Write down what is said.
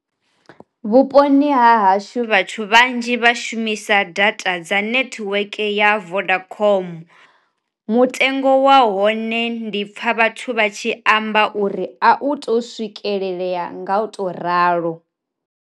Vhuponi ha hashu vhathu vhanzhi vha shumisa data dza nethiweke ya vodacom, mutengo wa hone ndi pfha vhathu vha tshi amba uri a u to swikelelea nga u to ralo.